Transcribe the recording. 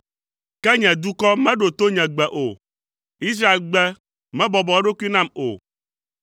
“Ke nye dukɔ meɖo to nye gbe o; Israel gbe, mebɔbɔ eɖokui nam o,